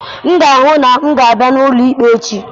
M ga-ahụ na m ga-apụta n'ụlọ ikpe echi.